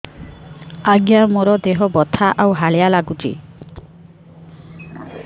ଆଜ୍ଞା ମୋର ଦେହ ବଥା ଆଉ ହାଲିଆ ଲାଗୁଚି